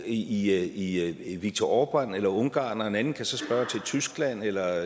i i viktor orbán eller ungarn og en anden kan så spørge til tyskland eller